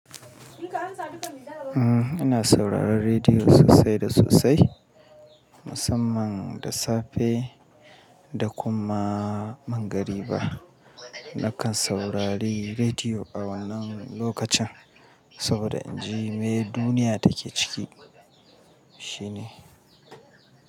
Ina sauraron rediyo sosai da sosai, musamman da safe da kuma mangariba. Nakan saurari rediyo a wannan lokacin saboda inji mai duniya take ciki shine.